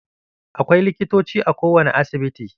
Akwai likitoci a ko wane asibiti.